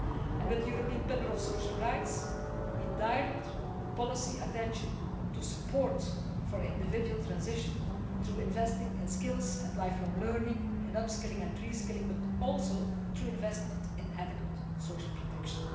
And with the European Pillar of Social Rights, we direct policy attention to support for individual transition through investing in skills and lifelong learning and upskilling and re skilling, but also through investment and adequate social protection.